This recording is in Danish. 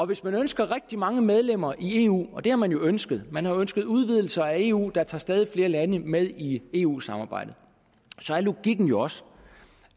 hvis man ønsker rigtig mange medlemmer i eu det har man jo ønsket man har ønsket en udvidelse af eu der tager stadig flere lande med i eu samarbejdet er logikken jo også